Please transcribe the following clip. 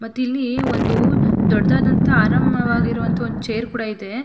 ಮತ್ ಇಲ್ಲಿ ದೊಡ್ಡದಾದಂಥ ಆರಾಮವಾಗಿರುವಂಥ ಚೇರ್ ಕೂಡ ಇದೆ.